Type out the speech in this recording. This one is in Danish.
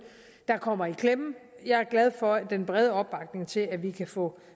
der kommer i klemme jeg er glad for den brede opbakning til at vi kan få